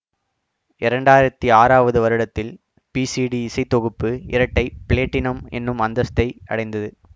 இரண்டாயிரத்தி ஆறாவது வருடத்தில் பிசிடி இசை தொகுப்பு இரட்டைப்ளேட்டினம் என்னும் அந்தஸ்தை அடைந்தது